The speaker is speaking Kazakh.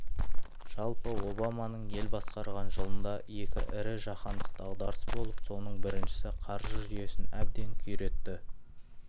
жалпы обаманың ел басқарған жылында екі ірі жаһандық дағдарыс болып соның біріншісі қаржы жүйесін әбден күйретті